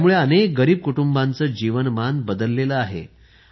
त्यामुळे अनेक गरीब कुटुंबांचे जीवनमान बदलले आहे